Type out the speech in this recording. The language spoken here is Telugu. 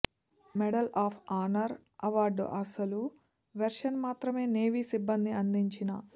మెడల్ ఆఫ్ ఆనర్ అవార్డు అసలు వెర్షన్ మాత్రమే నేవీ సిబ్బంది అందించిన